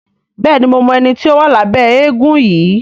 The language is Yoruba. Béèni mo mọ ẹní tí o wa Labe éégun yí.